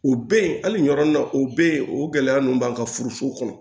U be yen hali ni yɔrɔ nin na o be yen o gɛlɛya nunnu b'an ka furu kɔnɔ